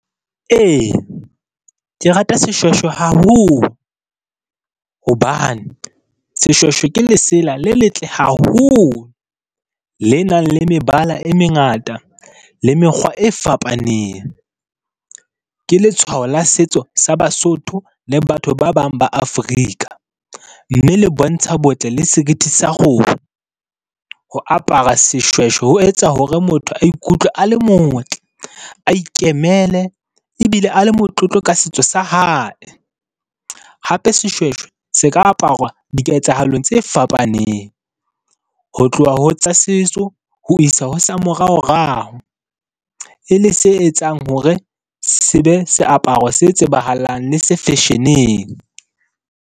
Ee, ke rata seshweshwe haholo, hobane seshweshwe ke lesela le letle haholo, le nang le mebala e mengata le mekgwa e fapaneng. Ke letshwao la setso sa Basotho le batho ba bang ba Africa, mme le bontsha botle le seriti sa . Ho apara seshweshwe ho etsa hore motho a ikutlwe a le motle, a ikemele ebile a le motlotlo ka setso sa hae, hape seshweshwe se ka aparwa diketsahalo tse fapaneng ho tloha ho tsa setso ho isa ho sa moraorao e le se etsang hore se be seaparo se tsebahalang le se fasion-eng.